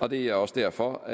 og det er også derfor